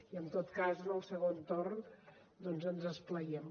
i en tot cas en el segon torn doncs ens esplaiem